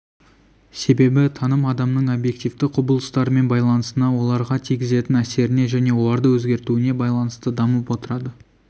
себебі таным адамның объективті құбылыстарымен байланысына оларға тигізетін әсеріне және оларды өзгертуіне байланысты дамып отырады